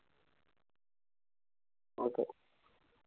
Okay